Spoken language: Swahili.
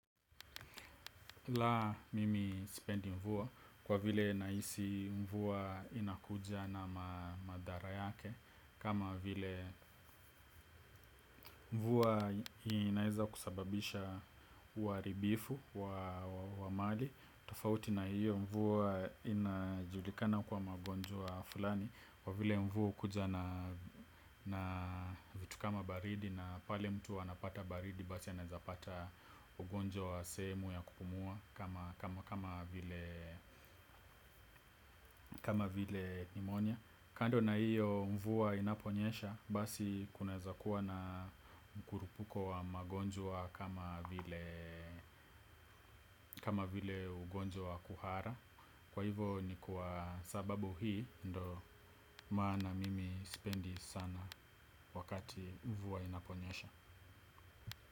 Laa! Mimi sipendi mvua kwa vile nahisi mvua inakuja na madhara yake kama vile mvua inaweza kusababisha uharibifu wa mali, tofauti na hiyo mvua inajulikana kwa magonjwa fulani kwa vile mvua hukuja na na vitu kama baridi na pale mtu anapata baridi basi anawezapata ugonjwa wa sehemu ya kupumua kama vile nimonia. Kando na hiyo mvua inaponyesha basi kunaweza kuwa na mkurupuko wa magonjwa kama vile ugonjwa kuhara. Kwa hivo ni kwa sababu hii ndo maana mimi spendi sana wakati mvua inaponyesha.